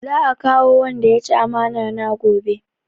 Za a kamo wanda ya ci amana na gobe